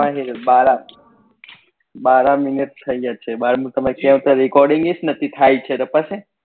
બારા બારા minute થઇ જાય છે બાર ની તમે recording જ નથી થાય છે તો પસે